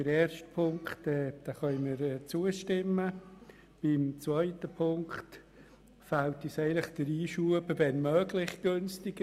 Der ersten Ziffer können wir zustimmen, bei der zweiten fehlt uns der Einschub «wenn möglich günstiger».